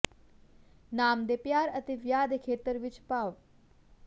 ਨਾਮ ਦੇ ਪਿਆਰ ਅਤੇ ਵਿਆਹ ਦੇ ਖੇਤਰ ਵਿੱਚ ਭਾਵ